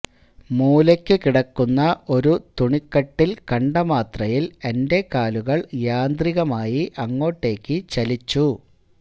മൂലയ്ക്ക് കിടക്കുന്ന ഒരു തുണി കട്ടിൽ കണ്ട മാത്രയിൽ എൻറെ കാലുകൾ യാന്ത്രികമായി അങ്ങോട്ടേക്ക് ചലിച്ചു